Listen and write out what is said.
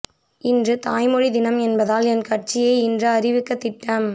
இன்று தாய்மொழி தினம் என்பதால்தான் என் கட்சியை இன்று அறிவிக்க திட்டம்